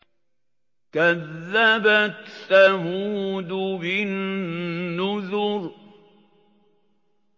كَذَّبَتْ ثَمُودُ بِالنُّذُرِ